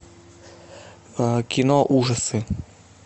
кино ужасы